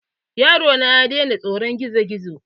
Yaro na ya daina tsoron gizo-gizo.